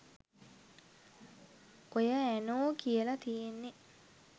ඔය ඇනෝ කියලා තියෙන්නේ